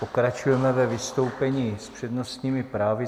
Pokračujeme ve vystoupení s přednostními právy.